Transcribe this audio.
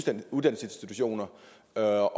der er